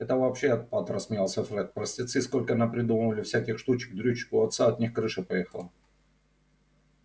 это вообще отпад рассмеялся фред простецы столько напридумывали всяких штучек-дрючек у отца от них крыша поехала